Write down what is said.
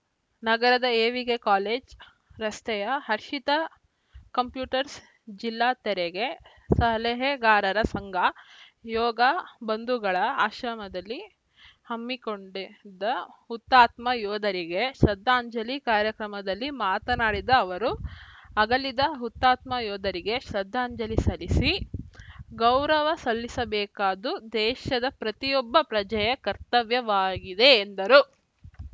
ನಗರದ A V K college ರಸ್ತೆಯ Harshita computers ಜಿಲ್ಲಾ ತೆರಿಗೆ ಸಲಹೆಗಾರರ ಸಂಘ ಯೋಗ ಬಂಧುಗಳ ಆಶ್ರಮದಲ್ಲಿ ಹಮ್ಮಿಕೊಂಡಿದ್ದ ಹುತಾತ್ಮ ಯೋಧರಿಗೆ ಶ್ರದ್ಧಾಂಜಲಿ ಕಾರ್ಯಕ್ರಮದಲ್ಲಿ ಮಾತನಾಡಿದ ಅವರು ಅಗಲಿದ ಹುತಾತ್ಮ ಯೋಧರಿಗೆ ಶ್ರದ್ಧಾಂಜಲ್ಲಿ ಸಲ್ಲಿಸಿ ಗೌರವ ಸಲ್ಲಿಸಬೇಕಾದ್ದು ದೇಶದ ಪ್ರತಿಯೊಬ್ಬ ಪ್ರಜೆಯ ಕರ್ತವ್ಯವಾಗಿದೆ ಎಂದರು